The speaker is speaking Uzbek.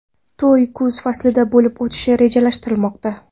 To‘y kuz faslida bo‘lib o‘tishi rejalashtirilmoqda.